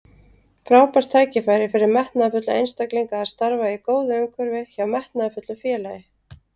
Frábært tækifæri fyrir metnaðarfulla einstaklinga að starfa í góðu umhverfi hjá metnaðarfullu félagi.